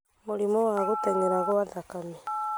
Mũrimũ wa gũtenyera kwa thakame;